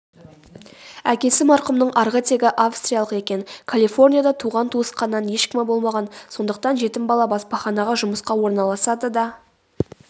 әкесі марқұмның арғы тегі австриялық екен калифорнияда туған-туысқаннан ешкімі болмаған сондықтан жетім бала баспаханаға жұмысқа орналасады да